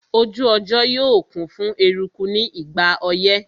Ojú ọjọ́ yóò kún fún eruku ní ìgbà ọyẹ́